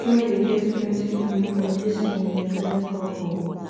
di guy dey get plenty moni from dis im mechanic work o